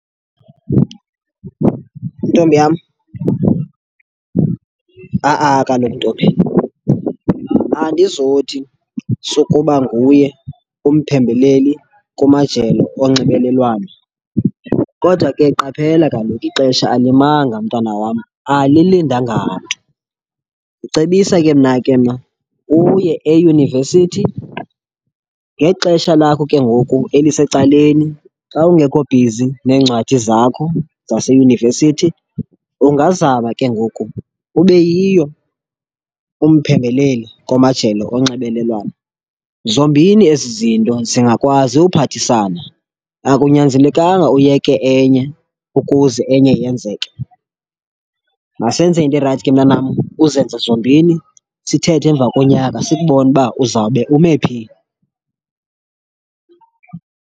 Ntombi yam, ha-a kaloku ntombi. Andizothi sukuba nguye umphembeleli kumajelo onxibelelwano kodwa ke qaphela kaloku ixesha alimanga mntana wam, alilindanga mntu. Ndicebisa ke mna ke mna uye eyunivesithi, ngexesha lakho ke ngoku elisecaleni xa ungekho bhizi neencwadi zakho zaseyunivesithi, ungazama ke ngoku ube yiyo umphembeleli komajelo onxibelelwano. Zombini ezi zinto zingakwazi uphathisana, akunyanzelekanga uyeke enye ukuze enye yenzeke. Masenze into erayithi ke mntanam uzenze zombini, sithethe emva konyaka sikubone uba uzawube ume phi.